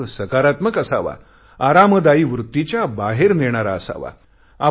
प्रयोग सकारात्मक असावा आरामदायी वृत्तीच्या बाहेर नेणारा असावा